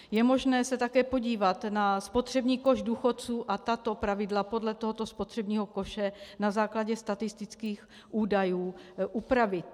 Je možné se také podívat na spotřební koš důchodců a tato pravidla podle tohoto spotřebního koše na základě statistických údajů upravit.